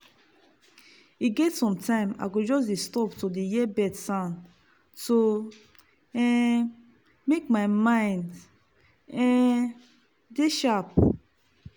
e get sometime i go just stop to hear bird sound to um make my mind um dey sharp.